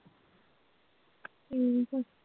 ਠੀਕ ਆ